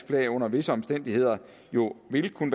flag under visse omstændigheder jo ville kunne